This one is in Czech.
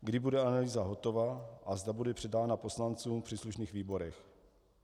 Kdy bude analýza hotova a zda bude předána poslancům v příslušných výborech.